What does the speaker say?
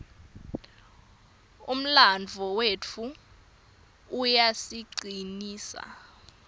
umlandvo wetfu uyasicinisa